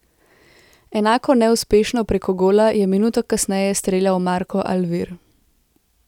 Enako neuspešno preko gola je minuto kasneje streljal Marko Alvir.